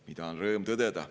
Seda on rõõm tõdeda.